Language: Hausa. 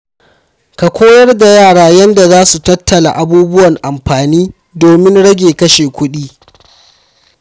Ka koyar da yara yadda za su tattala abubuwan amfani domin rage kashe kuɗi.